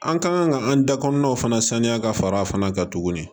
An kan ka an da kɔnɔnaw fana saniya ka fara a fana kan tuguni